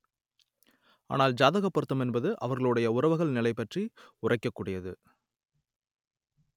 ஆனால் ஜாதகப் பொருத்தம் என்பது அவர்களுடைய உறவுகள் நிலை பற்றி உரைக்கக் கூடியது